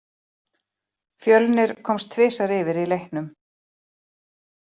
Fjölnir komst tvisvar yfir í leiknum.